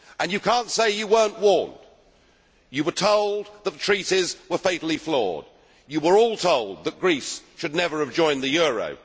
And you cannot say you were not warned. You were told the Treaties were fatally flawed. You were all told that Greece should never have joined the euro.